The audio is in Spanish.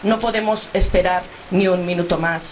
No podemos esperar ni un minuto más.